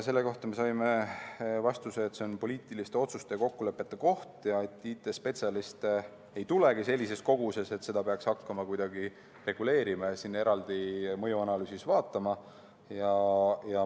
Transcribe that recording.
Selle kohta saime vastuse, et see on poliitiliste otsuste ja kokkulepete koht ja IT‑spetsialiste ei tulegi siia sellises koguses, et seda peaks hakkama kuidagi reguleerima ja eraldi mõjuanalüüsis vaatama.